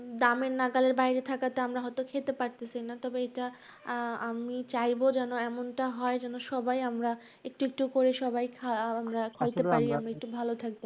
দামের নাগালের বাইরে থাকাতে আমরা হয়তো খেতে পারতেছি না। তবে এইটা আহ আমি চাইবো যেনো এমনটা হয় যেনো সবাই আমরা একটু একটু করে সবাই আহ আমরা খেতে পারি আমরা একটু ভালো থাকি